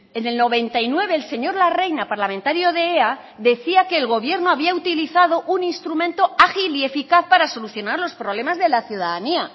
en el noventa y nueve el señor larreina parlamentario de ea decía que el gobierno había utilizado un instrumento ágil y eficaz para solucionar los problemas de la ciudadanía